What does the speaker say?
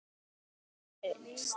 Það gæti breyst.